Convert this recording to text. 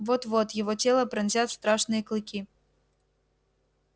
вот вот его тело пронзят страшные клыки